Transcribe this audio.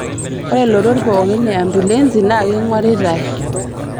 Ore lotot pookin e ambulensi naa keing'oritai